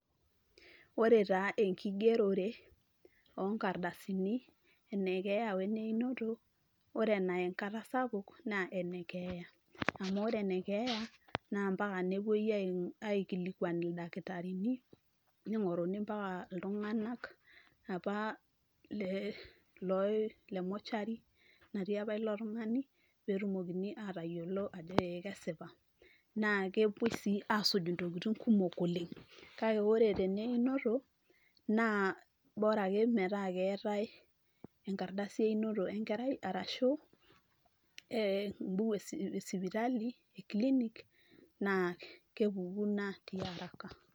ore taa enkigerore onkardasini ene keeya weneinoto ore enaya enkata sapuk naa ene keeya amu ore enekeeya naa mpaka nepuoi ai aikilikuan ildakitarini ning'oruni mpaka iltung'anak apa le loi le mortuary natii apa ilo tung'ani petumokini atayiolo ajo ee kesipa naa kepuoi sii asuj intokiting kumok oleng kake ore teneinoto naa bora ake metaa keetae enkardasi einoto enkerai arashu ee embuku esipitali e clinic naa kepuku ina tiaraka.